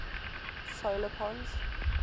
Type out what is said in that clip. solar pons